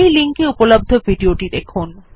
এই লিঙ্ক এ উপলব্ধ ভিডিও টি দেখুন